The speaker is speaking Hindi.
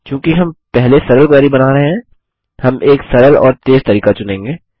चूँकि हम पहले सरल क्वेरी बना रहे हैं हम एक सरल और तेज़ तरीका चुनेंगे